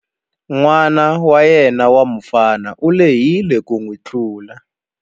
N'wana wa yena wa mufana u lehile ku n'wi tlula.